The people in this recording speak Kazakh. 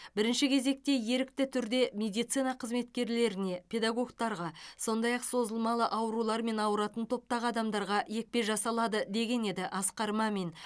бірінші кезекте ерікті түрде медицина қызметкерлеріне педагогтерге сондай ақ созылмалы аурулармен ауыратын топтағы адамдарға екпе жасалады деген еді асқар мамин